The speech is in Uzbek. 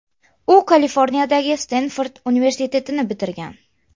U Kaliforniyadagi Stenford universitetini bitirgan.